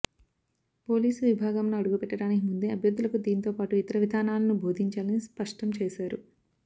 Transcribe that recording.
police విభాగంలో అడుగు పెట్టడానికి ముందే అభ్యర్థులకు దీంతో పాటు ఇతర విధానాలను బోధించాలని స్పష్టం చేశారు